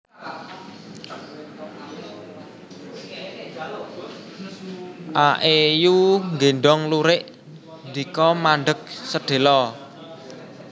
A É Yu nggéndhong lurik ndika mandheg sedhéla